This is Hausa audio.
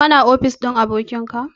Ka na ofis ɗin abokin ka?